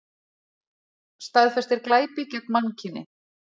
Staðfestir glæpi gegn mannkyni